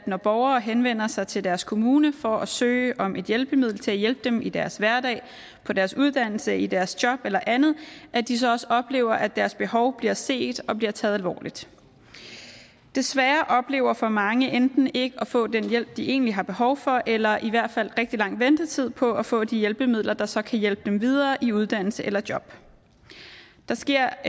når borgere henvender sig til deres kommune for at søge om et hjælpemiddel til at hjælpe dem i deres hverdag på deres uddannelse i deres job eller andet at de så også oplever at deres behov bliver set og bliver taget alvorligt desværre oplever for mange enten ikke at få den hjælp de egentlig har behov for eller i hvert fald rigtig lang ventetid på at få de hjælpemidler der så kan hjælpe dem videre i uddannelse eller job der sker